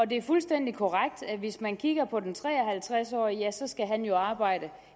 det er fuldstændig korrekt at hvis man kigger på den tre og halvtreds årige ja så skal han jo arbejde